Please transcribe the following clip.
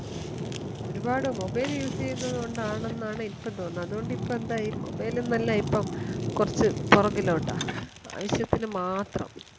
ഒരുപാട് mobile use ചെയുന്നത് കൊണ്ടാണെന്നാണ് ഇപ്പൊ തോന്നുന്നത് അതുകൊണ്ടു ഇപ്പൊ എന്തായി mobile എന്ന് അല്ല ഇപ്പൊ കുറച്ചു പുറകിലോട്ടാ ആവശ്യത്തിന് മാത്രം